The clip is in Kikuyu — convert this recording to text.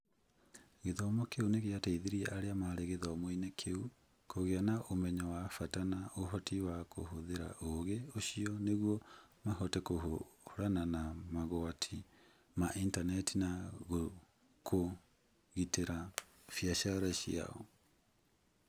Gĩthomo kĩu nĩ gĩateithirie arĩa maarĩ gĩthomo-inĩ kĩu kũgĩa na ũmenyo wa bata na ũhoti wa kũhũthĩra ũũgĩ ũcio nĩguo mahote kũhũrana na mogwati ma intaneti na kũgitĩra biacara ciao.